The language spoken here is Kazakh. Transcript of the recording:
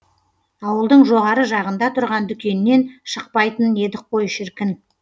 ауылдың жоғары жағында тұрған дүкеннен шықпайтын едік қой шіркін